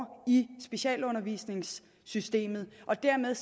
i specialundervisningssystemet og dermed